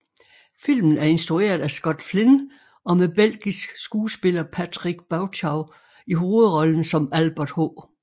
Filmen er instrueret af Scott Flynn og med belgisk skuespiller Patrick Bauchau i hovedrollen som Albert H